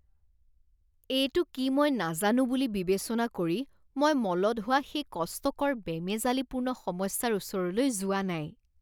এইটো কি মই নাজানো বুলি বিবেচনা কৰি মই মলত হোৱা সেই কষ্টকৰ বেমেজালিপূৰ্ণ সমস্যাৰ ওচৰলৈ যোৱা নাই।